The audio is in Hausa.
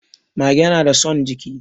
Mage nada son jiki